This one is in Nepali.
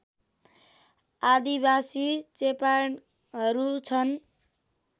आदिबासी चेपाङहरू छन्